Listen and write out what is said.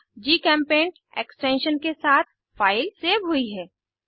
gchempaint extension के साथ file save हुई है